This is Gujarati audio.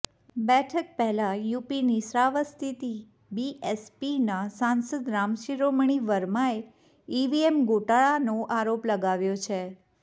બેઠક પહેલા યુપીની શ્રાવસ્તીથી બીએસપીના સાંસદ રામશિરોમણિ વર્માએ ઈવીએમ ગોટાળાનો આરોપ લગાવ્યો છે